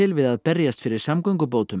við að berjast fyrir samgöngubótum